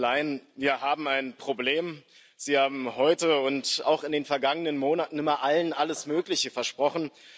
Frau von der Leyen, wir haben ein Problem Sie haben heute und auch in den vergangenen Monaten immer allen alles Mögliche versprochen.